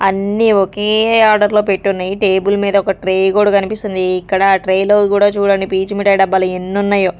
అన్నీ ఒకే ఆర్డర్ లో పెట్టున్నాయి టేబుల్ మీద ఒక ట్రే కూడా కనిపిస్తుంది ఇక్కడ ఆ ట్రే లో కూడా చూడండి పీచు మిఠాయి డబ్బాలు ఎన్ని ఉన్నాయో.